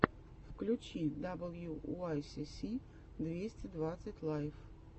включи даблюуайсиси двести двадцать лайв